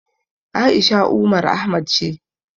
A'isha Umar Ahmad ce.